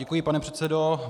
Děkuji, pane předsedo.